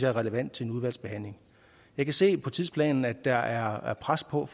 er relevant i udvalgsbehandlingen jeg kan se på tidsplanen at der er pres på og